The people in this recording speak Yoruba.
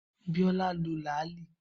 Biola lo làálí